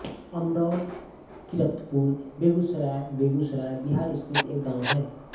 अमरौर किरतपुर बेगूसराय बेगूसराय बिहार स्थित एक गाँव है